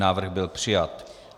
Návrh byl přijat.